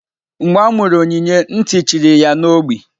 Mgbe amuru Onyinye nti chiri ya na ogbi.